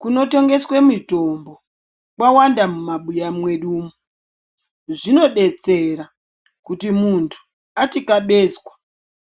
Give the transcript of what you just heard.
Kunotengeswe mitombo kwawanda mumabuya mwedumu. Zvinodetsera kuti muntu atikabezwa